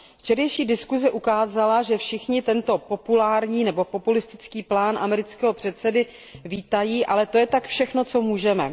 Včerejší diskuse ukázala, že všichni tento populární nebo populistický plán amerického prezidenta vítají, ale to je tak všechno, co můžeme.